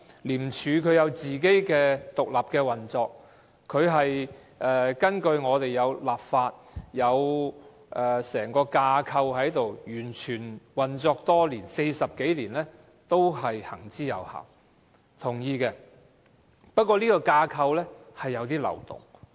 廉署有自己獨立的運作，它是根據法例而成立，有整個架構，運作多年 ，40 多年都行之有效，我是同意的，但這架構有漏洞。